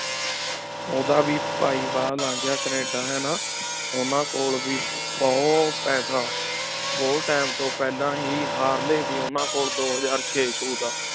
ਉਹਦਾ ਵੀ ਭਾਈ ਬਾਹਰ ਲੰਘ ਗਿਆ ਕੈਨੇਡਾ ਹਨਾ ਉਹਨਾਂ ਕੋਲ ਵੀ ਬਹੁਤ ਪੈਸਾ, ਬਹੁਤ time ਤੋਂ ਪਹਿਲਾਂ ਹੀ ਹਾਰਲੇ ਸੀ ਉਹਨਾਂ ਕੋਲ ਦੋ ਹਜ਼ਾਰ ਛੇ ਛੂ ਦਾ